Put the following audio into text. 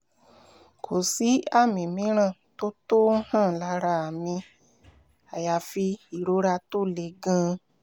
kò sí àmì mìíràn tó tó ń hàn lára mi àyàfi ìrora tó le gan-an